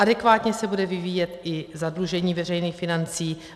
Adekvátně se bude vyvíjet i zadlužení veřejných financí.